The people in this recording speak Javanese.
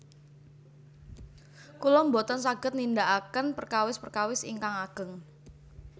Kula boten saged nindakaken perkawis perkawis ingkang ageng